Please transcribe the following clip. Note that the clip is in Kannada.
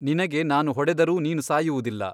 ನಿನಗೆ ನಾನು ಹೊಡೆದರೂ ನೀನು ಸಾಯುವುದಿಲ್ಲ.